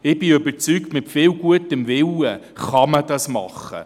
Ich bin überzeugt, dass dies mit viel gutem Willen gemacht werden kann.